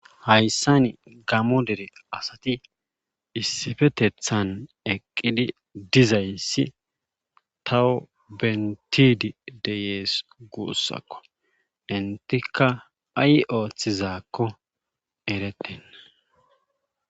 hayssani gamo dere asati issifetethan eqqidi dizayssi tawo bentidi deyees guussakko intika ay ooththizaakko ereten